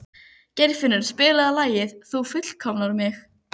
Geirfinnur, spilaðu lagið „Þú fullkomnar mig“.